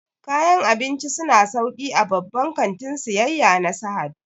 Kayan abinci su na sauƙi a babban kantin siyayya na Sahad